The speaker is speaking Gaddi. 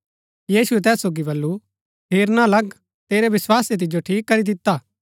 यीशुऐ तैस सोगी वलु हेरना लग तेरै विस्वासै तिजो ठीक करी दिता हा